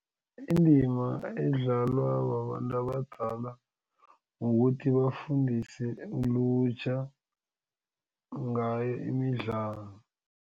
Indima edlalwa babantu abadala kukuthi bafundise ilutjha ngayo imidlalo.